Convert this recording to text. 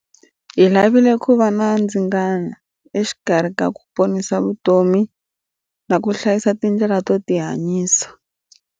Hi lavile ku va na ndzingano exikarhi ka ku ponisa vutomi na ku hlayisa tindlela to tihanyisa.